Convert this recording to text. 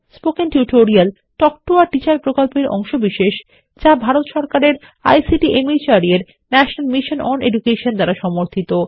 spoken tutorial talk to a teacher প্রকল্পের অংশবিশেষ যা ভারত সরকারের আইসিটি মাহর্দ এর ন্যাশনাল মিশন ওন এডুকেশন দ্বারা সমর্থিত